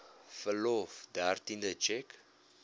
verlof dertiende tjek